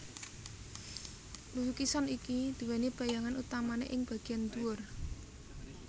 Lukisan iki duweni bayangan utamane ing bageyan dhuwur